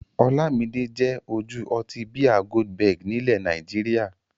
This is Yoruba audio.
Ọlámidé jẹ́ ojú ọtí bíà Goldberg nílẹ̀ Nàìjíríà.